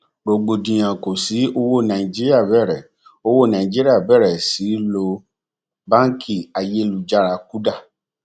rògbòdìyàn kò sí owó nàìjíríà bẹrẹ owó nàìjíríà bẹrẹ sí lo báńkì ayélujára kuda